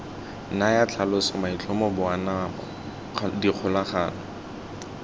naya tlhaloso maitlhomo boanamo dikgolagano